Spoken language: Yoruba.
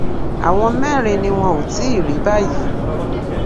àwọn mẹrin ni wọn ò tí ì rí báyìí